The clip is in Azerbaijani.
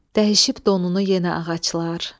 Dəyişib donunu yenə ağaclar.